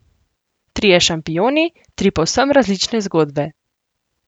Trije šampioni, tri povsem različne zgodbe.